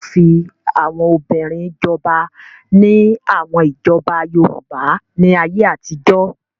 Wọ́n fi àwọn obìnrin jọba ní àwọn ìjọba Yorùbá ní ayé àtijọ́.